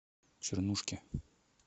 чернушке